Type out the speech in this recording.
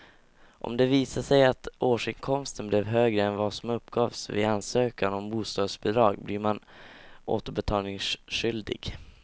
Om det visar sig att årsinkomsten blev högre än vad som uppgavs vid ansökan om bostadsbidrag blir man återbetalningsskyldig.